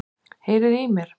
Heyriði í mér?